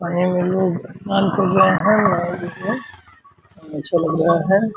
और ए में लोग स्नान कर अच्छा लग रहा है।